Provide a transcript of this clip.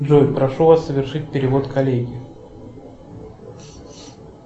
джой прошу вас совершить перевод коллеге